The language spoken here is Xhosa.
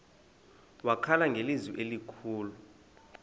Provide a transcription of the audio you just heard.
wakhala ngelizwi elikhulu